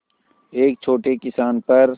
एक छोटे किसान पर